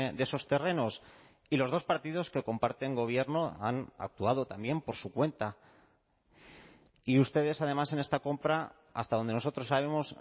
de esos terrenos y los dos partidos que comparten gobierno han actuado también por su cuenta y ustedes además en esta compra hasta donde nosotros sabemos